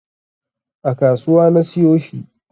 A kasuwa na siyo shi